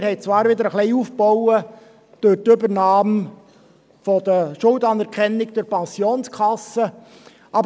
Wir haben allerdings durch die Übernahme der Schuldanerkennung der Pensionskasse auch ein wenig aufgebaut.